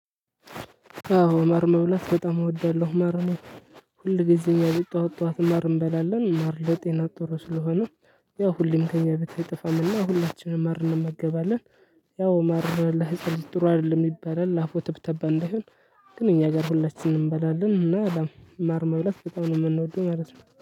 አዎ ማር መብላት በጣም እወዳለሁ። ማርን ሁልጊዜ እኛ ቤት ጠዋት ጠዋት ማር እንበላለን። ማር ለጤና ጥሩ ስለሆነ ያው ሁሌም ከእኛ ቤት አይጠፋምና ሁላችንም ማር እንመገባለን። ያው ማር ለሕጻን ልጅ ጥሩ አይደለም ይባላል። አፉ ተብተባ እንዳይሆን ግን እኛ ጋር ሁላችንም እንበላለን። እና ያው ማር መብለጥ በጣም ነው የምንወደው ማለት ነው።